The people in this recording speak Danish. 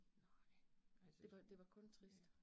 Nej altså, ja